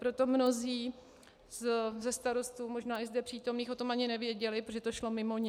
Proto mnozí ze starostů, možná i zde přítomných, o tom ani nevěděli, protože to šlo mimo ně.